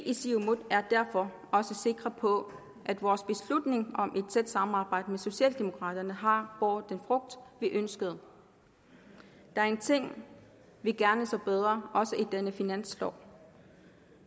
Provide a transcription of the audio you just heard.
i siumut derfor også sikre på at vores beslutning om et tæt samarbejde med socialdemokraterne har båret den frugt vi ønskede der er ting vi gerne så var bedre også i denne finanslov